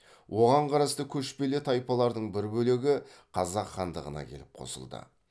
оған қарасты көшпелі тайпалардың бір бөлегі қазақ хандығына келіп қосылды